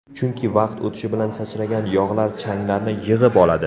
Chunki vaqt o‘tishi bilan sachragan yog‘lar changlarni yig‘ib oladi.